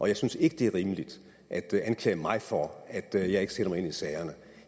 jeg synes ikke det er rimeligt at anklage mig for at jeg ikke sætter mig ind i sagerne